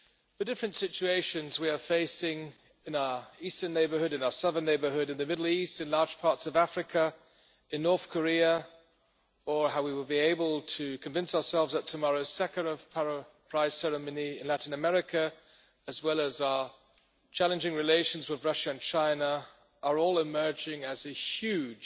The different situations we are facing in our eastern neighbourhood, in our southern neighbourhood, in the Middle East, in large parts of Africa, in North Korea, or and how we will be able to convince ourselves at tomorrow's Sakharov Prize ceremony in Latin America, as well as our challenging relations with Russia and China, are all emerging as huge